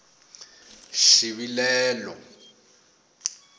xivilelo